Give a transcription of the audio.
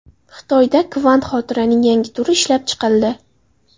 Xitoyda kvant xotiraning yangi turi ishlab chiqildi.